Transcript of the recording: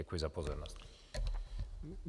Děkuji za pozornost.